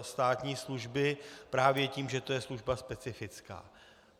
státní služby právě tím, že to je služba specifická.